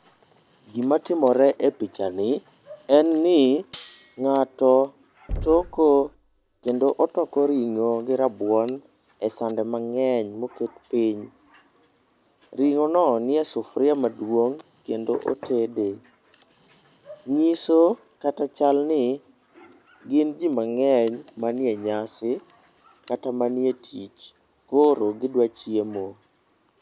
Gima timore e pichani en ni, ng'ato toko, kendo otoko ring'o gi rabuon e sande mang'eny moket piny. Ring'ono nie sufria maduong' kendo otede. Ng'iso kata chalni, gin ji mang'eny manie nyasi, kata manie tich, koro gidwa chiemo.